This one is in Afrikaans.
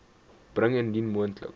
bring indien moontlik